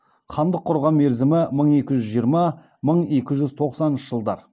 хандық құрған мерзімі мың екі жүз жиырма мың екі жүз тоқсаныншы жылдар